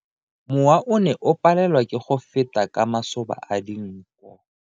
Mowa o ne o palelwa ke go feta ka masoba a dinko.